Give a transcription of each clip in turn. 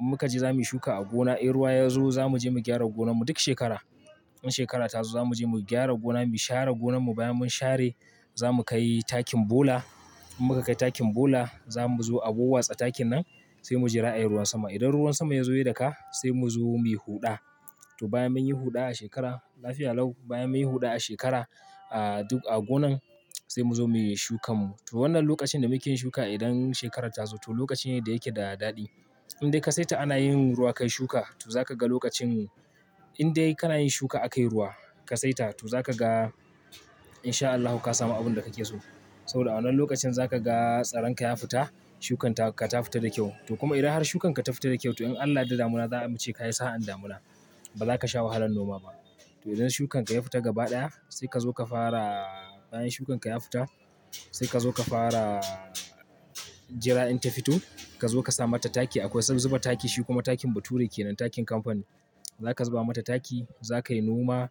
In muka je za muyi shuka a gona, in ruwa ya zo za mu je mu gyara gonan mu. Duk shekara, in shekarata zo za mu je mu gyara gona, mu share gonan mu. Bayan mun share za mu kai takin bula. In muka kai takin bula za mu zo a wawwatsa takin nan sai mujira ayi ruwan sama. Idan ruwan sama ya zo ya daka sai mu zo muyi huɗa. To bayan munyi huɗa a shekara, lafiya lau, bayan munyi huɗa a shekara, a duk a gonan sai mu zo muyi shukan mu. To wannan lokacin da muke yin shuka idan shekararta zo to lokaci ne da yake da daɗi. Indai ka saita ana yin ruwa ka yi shuka to za ka ga lokacin, indai kana yin shuka a kai ruwa ka saita to za ka ga in sha Allahu ka samu abin da kake so. Saboda a wannan lokacin za ka ga tsaran ka ya fita, shukan ka ta fita da kyau. To kuma idan har shukan ka ta fita da kyau to in Allah da damina za'ace ka yi sa'an damuna. Ba za ka sha wahalan noma ba. To idan shukan ka ya fita gaba ɗaya sai ka zo ka fara, bayan shukan ka ya fita sai ka zo ka fara jira in ta fito. Ka zo ka sa mata taki. Akwai zuba taki. Shi kuma takin bature kenan, takin kamfani. Za ka zuba mata taki, za ka yi noma.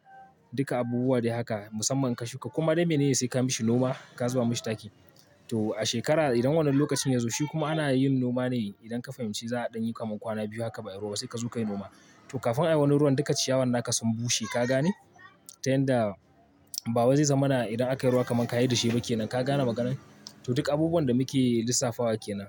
Duka abubuwa dai haka musamman in ka shuka koma dai mene ne sai ka mishi noma, ka zuba mishi taki. To a shekara idan wannan lokacin ya zo shi kuma ana yin noma ne idan ka fahimci za a ɗan yi kaman kwana biyu haka ba'i ruwa ba sai ka zo ka yi noma. To kafin a yi wani ruwan duka ciyawan naka sun bushe ka gane? Ta yanda bawai zai zama na idan aka yi ruwa kaman ka yi da shi ba ke nan. Ka gane maganar? To duk abubuwan da muke lissafa wa ke nan.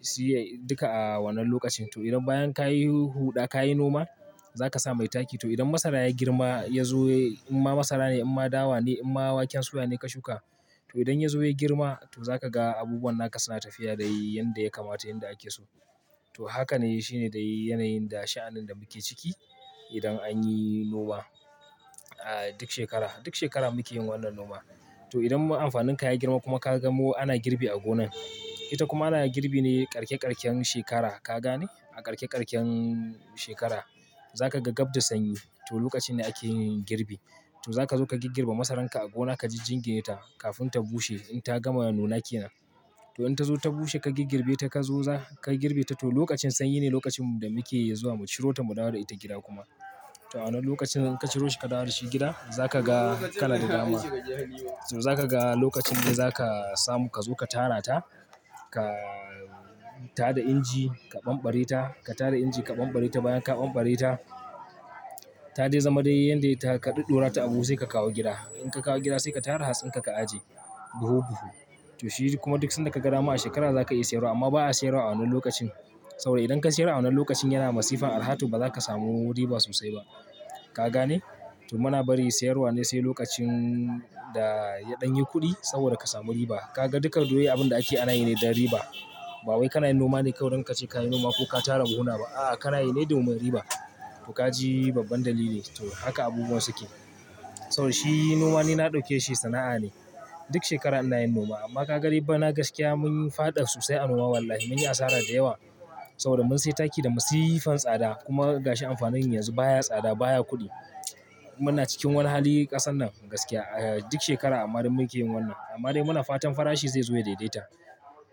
Si duka a wannan lokacin. To idan bayan ka yi huɗa ka yi noma za ka samu taki. To idan masara ya girma ya zo, in ma masara ne, in ma dawa ne, in ma waken soya ne ka shuka to idan ya zo ya girma to za ka ga abubuwan naka suna tafiya yanda ya kamata yanda ake so. To haka ne shi ne yanayin da sha'anin da muke ciki idan an yi noma a duk shekara. Duk shekara muke yin wannan noma. To idan amfanin ka ya girma kuma ka ga ana girbi a gonan ita kuma ana girbi ne karke-karken shekara, ka gane? A karke-karken shekara za ka ga gab da sanyi to lokaci ne ake girbi. To za ka zo ka giggirbe masaran ka a gona, ka jingine ta kafin ta bushe, ta gama nuna kenan. To in ta zo ta bushe ka giggirbe ta, ka zo za ka girbe ta. To lokacin sanyi ne lokacin da muke zuwa mu ciro ta mu dawo da ita gida kuma. To a wannan lokacin idan ka ciro shi ka dawo da shi gida za ka ga kana da dama. To za ka ga lokacin ne za ka samu ka zo ka tara ta. Ka tada inji ka ɓanɓare ta. Ka tara inji ka ɓanɓare ta. Bayan ka ɓanɓare ta, ta dai zama dai yanda ta ka ɗuddura ta a buhu sai ka kawo gida. In ka kawo gida sai ka tara hatsin ka, ka aje, buhu buhu. To shi kuma duk sanda ka gama a shekara za ka iya sayarwa amma ba a sayarwa a wannan lokacin. Saboda idan ka sayar a wannan lokacin yana masifan arha to ba za ka samu riba sosai ba. Ka gane? To muna bari sayarwa ne sai lokacin da ya ɗan yi kuɗi saboda ka samu riba. Ka ga duka dole abin da ake ana yi ne don riba. Ba wai kana yin noma ne kawai don kace ka yi noma ko ka tara buhuna ba. A'a kana yi ne domin riba. To ka ji babban dalili? To haka abubuwan suke. Saboda shi noma ne na ɗauke shi sana'a ne. Duk shekara ina yin noma amma ka ga dai bana gaskiya mun faɗa sosai a noma wallahi. Mun yi asara da yawa saboda mun sai taki da masifan tsada, kuma gashi amfanin yanzu baya tsada baya kuɗi. Muna cikin wani hali ƙasan nan gaskiya a duk shekara amma dai muke yin wannan. Amma dai muna fatan farashi zai zo ya daidaita.